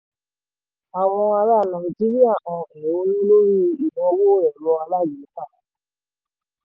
àwọn ará nàìjíríà hàn èhónú lórí ìnáwó ẹ̀rọ alágbèéká.